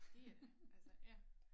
Det er det altså ja